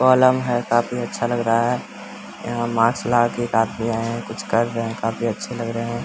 पलंग है काफी अच्छा लग रहा है | यहाँ मास्क लगा के एक आदमी आये हैं | कुछ कर रहे हैं | काफी अच्छे लग रहे हैं।